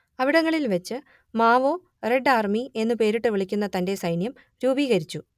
അവിടങ്ങളിൽ വെച്ച് Mao red army എന്നു പേരിട്ടു വിളിക്കുന്ന തന്റെ സൈന്യം രൂപീകരിച്ചു